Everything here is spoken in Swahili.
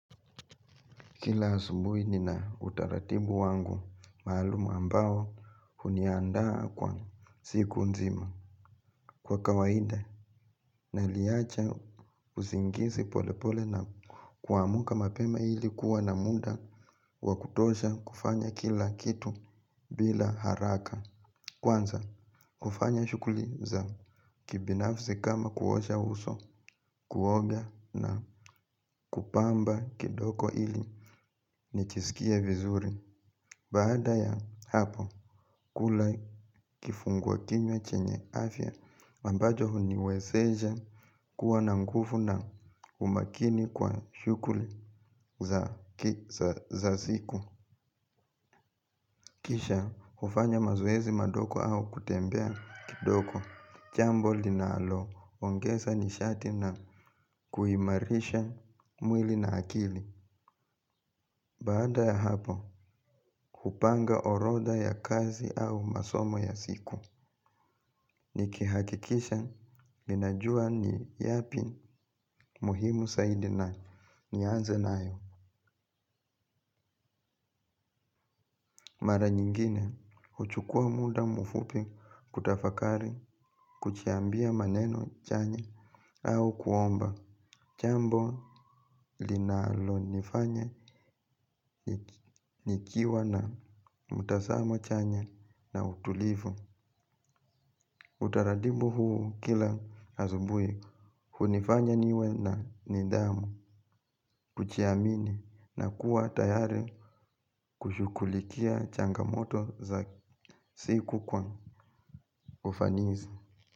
Kila asumbui nina utaratibu wangu maaluma ambao huniandaa kwa siku nzima. Kwa kawaida naliacha uzingisi polepole na kuamuka mapema ilikuwa na muda wakutosha kufanya kila kitu bila haraka. Kwanza kufanya shukuliza kibinafsi kama kuosha uso kuoga na kupamba kidoko ili nichisikie vizuri. Baada ya hapo, kula kifungwa kinyo chenye afya, ambajo huniwezesha kuwa nangufu na humakini kwa shukuli za siku. Kisha, ufanya mazoezi madoko au kutembea kidoko. Chambo linaalo, ongesa nishati na kuhimarisha mwili na akili. Bada ya hapo, kupanga oroda ya kazi au masomo ya siku. Nikihakikisha, ninajua ni yapi muhimu saidi na nianze na ayo. Mara nyingine, uchukua muda mufupi kutafakari, kuchiambia maneno chanya au kuomba. Jambo, linalo nifanya, nikiwa na mutasamo chanya na utulivu. Utaratibu huu kila asubuhi hunifanya niwe na nidhamu. Kujiamini na kuwa tayari kushughulikia changamoto za siku kwa ufanisi.